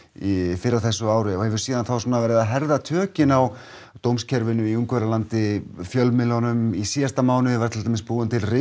fyrr á þessu ári og hefur síðan þá verið að herða tökin á dómskerfinu í Ungverjalandi sem fjölmiðlunum í síðasta mánuði var til dæmis búin til